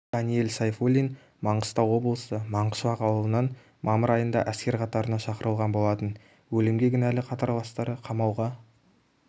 даниэль сайфуллин маңғыстау облысы маңғышлақ ауылынан мамыр айында әскер қатарына шақырылған болатын өлімге кінәлі қатарластары қамауға